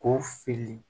Ko fili